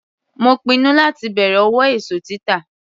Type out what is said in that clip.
Mo pinnu láti bẹ̀rẹ̀ òwò èso títà.